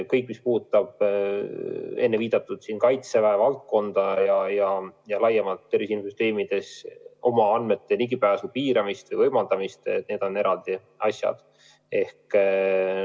Kõik, mis puudutab viidatud Kaitseväe valdkonda ja laiemalt tervise infosüsteemides oma andmetele ligipääsu piiramist või võimaldamist – need on eraldi asjad.